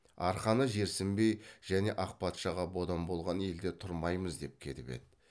арқаны жерсінбей және ақ патшаға бодан болған елде тұрмаймыз деп кетіп еді